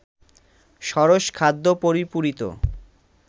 সরস খাদ্য-পরিপূরিত